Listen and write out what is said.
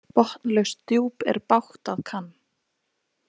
Botnlaust djúp er bágt að kann.